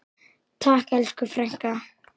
Takk elsku frænka.